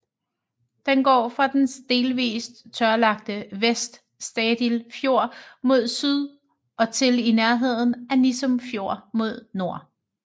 Den går fra den delvis tørlagte Vest Stadil Fjord mod syd og til i nærheden af Nissum Fjord mod nord